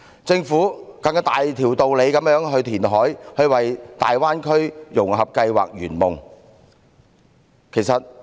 政府更有大條道理進行填海，為大灣區的融合計劃圓夢。